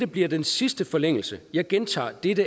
bliver den sidste forlængelse jeg gentager det det